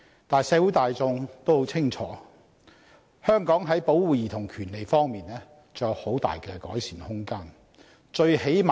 但是，社會大眾也很清楚，香港在保護兒童權利方面仍然有很大的改善空間。